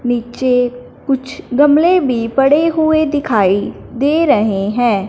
नीचे कुछ गमले भी पड़े हुए दिखाई दे रहे हैं।